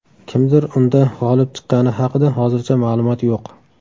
Kimdir unda g‘olib chiqqani haqida hozircha ma’lumot yo‘q.